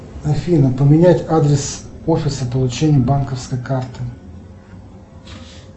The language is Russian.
афина поменять адрес офиса получения банковской карты